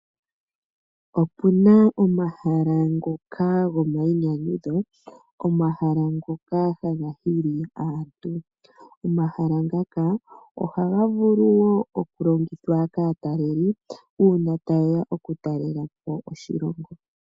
Opuna omahala ngoka goma iinyanyudho, omahala ngoka taga hili aantu. Omahala ngoka ohaga vulu wo okulongithwa kaataleli uuna tayeya okutalela po oshilongo.